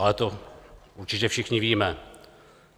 Ale to určitě všichni víme.